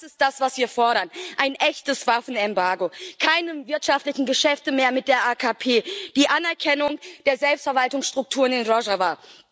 Und das ist das, was wir fordern ein echtes Waffenembargo, keine wirtschaftlichen Geschäfte mehr mit der AKP, die Anerkennung der Selbstverwaltungsstrukturen in Rojava.